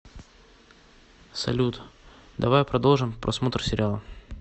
салют давай продолжим просмотр сериала